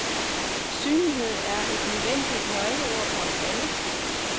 Synlighed er et nødvendigt nøgleord for os alle.